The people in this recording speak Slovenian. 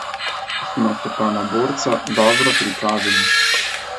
Smo se pa na borca dobro pripravili.